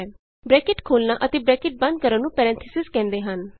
bracket ਖੋਲ੍ਹਨਾ ਅਤੇ bracket ਬੰਦ ਕਰਨ ਨੂੰ ਪੈਰੇਨਥੀਸਿਜ਼ ਕਹਿੰਦੇ ਹਨ